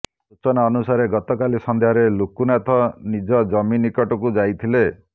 ସୂଚନା ଅନୁସାରେ ଗତକାଲି ସନ୍ଧ୍ୟାରେ ଲୁକୁନାଥ ନିଜ ଜମି ନିକଟକୁ ଯାଇଥିଲେ